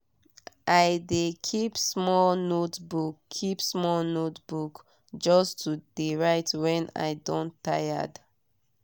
i de keep small notebook keep small notebook just to de write when i don tired.